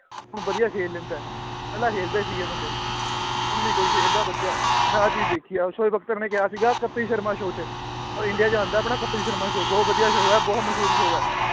ਵੀ ਵਧੀਆ ਖੇਲ ਲੈਂਦਾ ਹੈ ਪਹਿਲਾਂ ਖੇਲਦੇ ਸੀਗੇ ਬੰਦੇੇ ਹੁਣ ਨੀ ਕੋਈ ਖੇਲਦਾ ਵਧੀਆ ਮੈਂ ਆਹ ਚੀਜ਼ ਦੇਖੀ ਹੈ ਸੋਏ ਬਖਤਰ ਨੇ ਕਿਹਾ ਸੀਗਾ ਕਪਿਲ ਸ਼ਰਮਾ show 'ਚ ਉਹ ਇੰਡੀਆ 'ਚ ਆਉਂਦਾ ਹੈ ਆਪਣਾ ਕਪਿਲ ਸ਼ਰਮਾ show ਬਹੁਤ ਵਧੀਆ show ਹੈ, ਬਹੁਤ ਮਸ਼ਹੂਰ show ਹੈ।